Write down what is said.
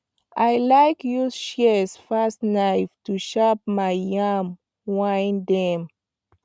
i like use shears pass knife to shape my yam vine dem